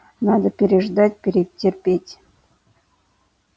надо переждать перетерпеть